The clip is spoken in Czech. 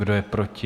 Kdo je proti?